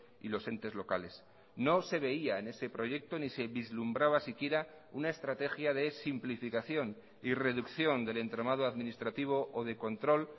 y los entes locales no se veía en ese proyecto ni se vislumbraba siquiera una estrategia de simplificación y reducción del entramado administrativo o de control